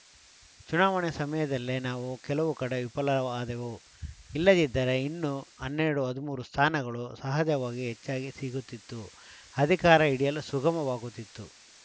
ಚುನಾವಣೆ ಸಮಯದಲ್ಲೇ ನಾವು ಕೆಲವು ಕಡೆ ವಿಫಲವಾದೆವು ಇಲ್ಲದಿದ್ದರೆ ಇನ್ನೂ ಹನ್ನೆರಡು ಹದಿಮೂರು ಸ್ಥಾನಗಳು ಸಹಜವಾಗಿಯೇ ಹೆಚ್ಚಾಗಿ ಸಿಗುತ್ತಿತ್ತು ಅಧಿಕಾರ ಹಿಡಿಯಲು ಸುಗಮವಾಗುತ್ತಿತ್ತು